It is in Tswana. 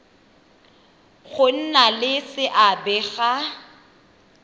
go nna le seabe ga